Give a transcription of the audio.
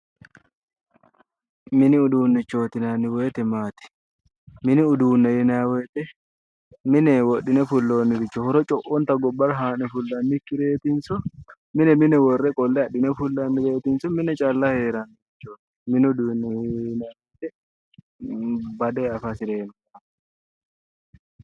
Mini uduunichoti yinnanni woyte maati, mini uduune yinnanni woyte mine wodhine fuloniricho horo co'onta gobbara haa'ne fullanikkirichotinso mine mine worre addine fullanihonso mine calla heerano ,mini uduune yinnannire bade afa hasireemmo".